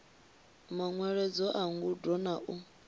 manweledzo a ngudo na u